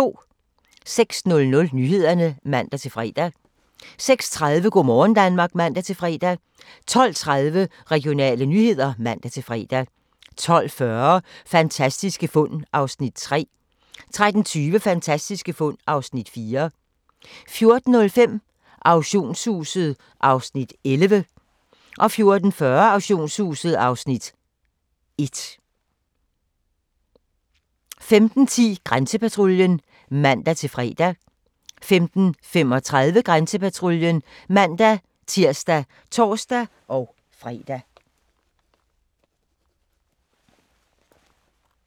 06:00: Nyhederne (man-fre) 06:30: Go' morgen Danmark (man-fre) 12:30: Regionale nyheder (man-fre) 12:40: Fantastiske fund (3:10) 13:20: Fantastiske fund (4:10) 14:05: Auktionshuset (Afs. 11) 14:40: Auktionshuset (Afs. 1) 15:10: Grænsepatruljen (man-fre) 15:35: Grænsepatruljen (man-tir og tor-fre) 16:00: Alarmcentralen (man-ons og fre)